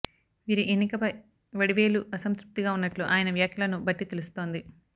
వీరి ఎన్నికపై వడివేలు అసంతృప్తిగా ఉన్నట్లు ఆయన వ్యాఖ్యలను బట్టి తెలుస్తోంది